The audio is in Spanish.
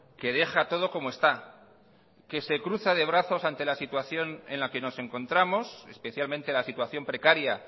que deja todo como está que se cruza de brazos ante la situación en la que nos encontramos especialmente la situación precaria